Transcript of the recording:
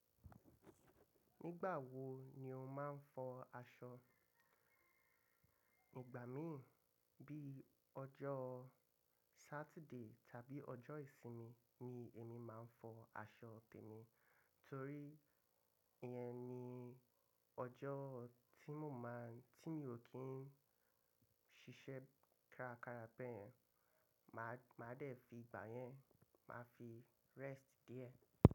Nígbà wo ni o máa ń fọ aṣọ? Ìgbà mí bí ọjọ́ Saturday tàbí ọjọ́ ìsinmi ni èmi máa ń fọ aṣọ tèmi, torí ìyẹn ni ọjọ́ tí mo máa ń tí mi ò kí n ṣiṣẹ́ kárakára bẹ́ẹ̀ yẹn. Màá dè fi ìgbà yẹn máa fi rest díẹ̀